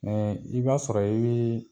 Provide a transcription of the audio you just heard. i b'a sɔrɔ i bɛ